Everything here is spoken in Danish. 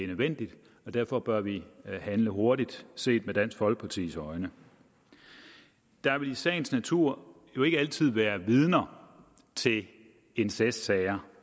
nødvendigt derfor bør vi handle hurtigt set med dansk folkepartis øjne der vil i sagens natur ikke altid være vidner til incestsager